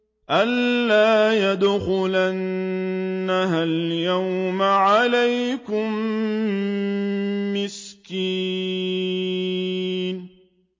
أَن لَّا يَدْخُلَنَّهَا الْيَوْمَ عَلَيْكُم مِّسْكِينٌ